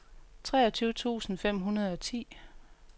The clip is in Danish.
treogtyve tusind fem hundrede og ti